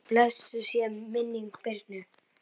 Blessuð sé minning Birnu.